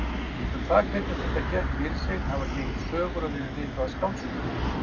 Um það hvernig þetta gekk fyrir sig hafa gengið sögur og verið ritaðar skáldsögur.